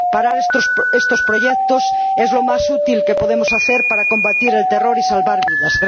Parar estos proyectos es lo más útil que podemos hacer para combatir el terror y salvar vidas.